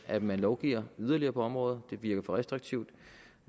at man lovgiver yderligere på området det virker for restriktivt